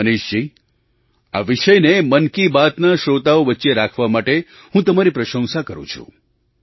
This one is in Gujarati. મનીષજી આ વિષયને મન કી બાતના શ્રોતાઓ વચ્ચે રાખવા માટે હું તમારી પ્રશંસા કરું છું